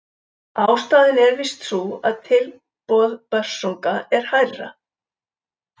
Ástæðan er víst sú að tilboð Börsunga er hærra.